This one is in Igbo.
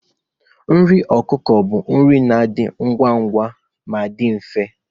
Nri ọkụkọ bu nri na-adị ngwa ngwa ma dị mfe.